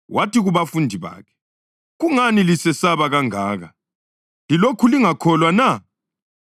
Wathi kubafundi bakhe, “Kungani lisesaba kangaka? Lilokhu lingakholwa na?”